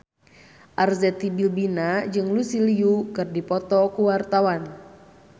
Arzetti Bilbina jeung Lucy Liu keur dipoto ku wartawan